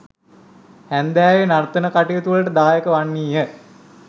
හැන්දෑවේ නර්තන කටයුතුවලට දායක වන්නීය.